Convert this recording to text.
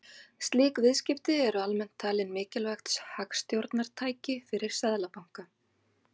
Slík viðskipti eru almennt talin mikilvægt hagstjórnartæki fyrir seðlabanka.